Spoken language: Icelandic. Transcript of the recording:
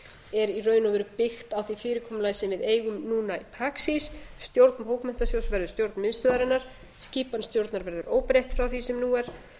er í raun og veru byggt a því fyrirkomulagi sem við eigum núna í praxís stjórn bókmenntasjóðs verður stjórn miðstöðvarinnar skipan stjórnar verður óbreytt frá því sem nú er